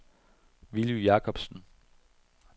Villy Jakobsen